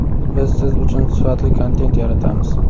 Biz siz uchun sifatli kontent yaratamiz.